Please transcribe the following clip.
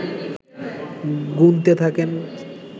গুনতে থাকেন